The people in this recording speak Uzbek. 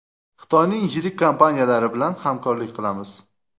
Xitoyning yirik kompaniyalari bilan hamkorlik qilamiz.